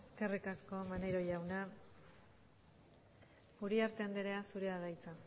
eskerrik asko maneiro jauna uriarte andrea zurea da hitza